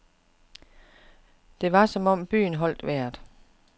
Det var som om byen holdt vejret.